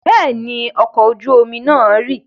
Bẹ́ẹ̀ ni, ọkọ̀ ojú-omi náà rì.